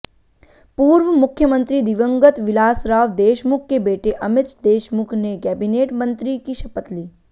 पूर्व मुख्यमंत्री दिवंगत विलासराव देशमुख के बेटे अमित देशमुख ने कैबिनेट मंत्री की शपथ ली